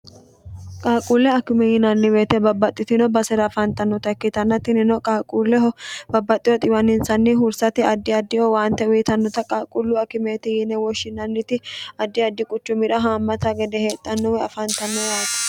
qaaquulle akime yinanni woyeete babbaxxitino basera afaantannota ikkitanna tinino qaalquulleho babbaxxiho xiwaninsanni hursati addi addiho waante uyitannota qaalquullu akimeeti yiine woshshinanniti addi addi quchu mira haammata gede heexxhannowe afaantanno yaate